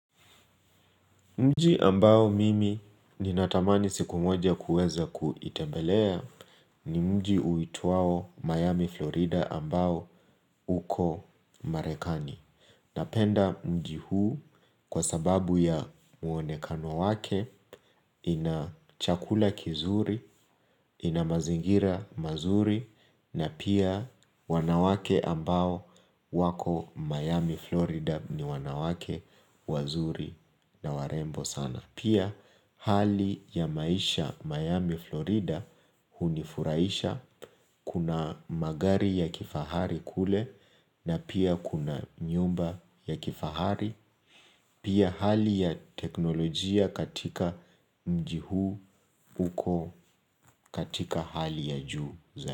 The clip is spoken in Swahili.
Mji ambao mimi ninatamani siku moja kuweza kuitembelea ni mji uitwao Miami Florida ambao uko Marekani. Napenda mji huu kwa sababu ya muonekano wake ina chakula kizuri, ina mazingira mazuri na pia wanawake ambao wako Miami Florida ni wanawake wazuri na warembo sana. Pia hali ya maisha Miami, Florida hunifurahisha. Kuna magari ya kifahari kule na pia kuna nyumba ya kifahari. Pia hali ya teknolojia katika mjii huu uko katika hali ya juu za.